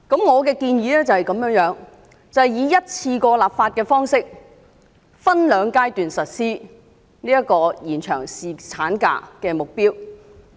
我的建議是以一次過立法的方式，分兩個階段實施延長侍產假的目標。